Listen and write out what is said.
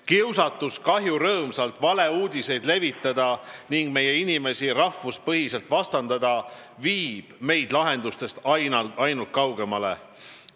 Kiusatus kahjurõõmsalt valeuudiseid levitada ning meie inimesi rahvuspõhiselt vastandada viib meid lahendustest ainult kaugemale.